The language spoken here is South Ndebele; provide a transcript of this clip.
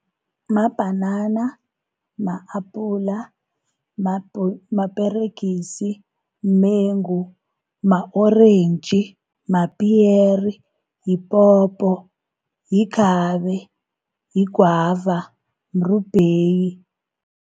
Mabhanana, ma-apula, maperegisi, mumengu, ma-orentji, mapiyere, yipopo, yikhabe, yigwava, mrubheyi.